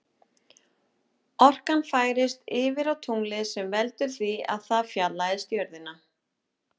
Orkan færist yfir á tunglið sem veldur því að það fjarlægist jörðina.